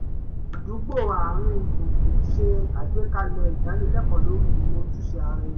àdúgbò àárín gbùngbùn ṣe àgbékalẹ̀ ìdánilẹ́kọ̀ọ́ lórí ìmọ̀ ojúṣe ara ẹni